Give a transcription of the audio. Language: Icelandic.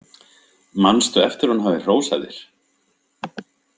Manstu eftir að hún hafi hrósað þér?